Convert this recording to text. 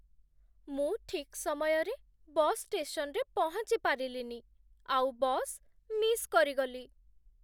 ମୁଁ ଠିକ୍ ସମୟରେ ବସ୍ ଷ୍ଟେସନ୍‌ରେ ପହଞ୍ଚି ପାରିଲିନି ଆଉ ବସ୍ ମିସ୍ କରିଗଲି ।